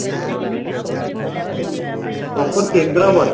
proper Kendrapada